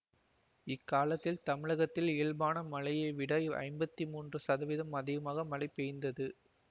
இக்காலத்தில் தமிழகத்தில் இயல்பான மழையளவை விட ஐம்பத்தி மூன்று சதவீதம் அதிகமாக மழை பெய்ந்தது